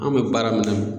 An bɛ baara min na